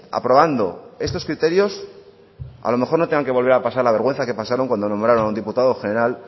aprobando estos criterios a lo mejor no tengan que volver a pasar la vergüenza que pasaron cuando nombraron a un diputado general